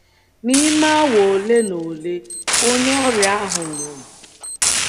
N’ime awa ole na ole, onye ọrịa ahụ nwụrụ.